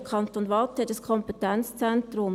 Der Kanton Waadt hat ein Kompetenzzentrum.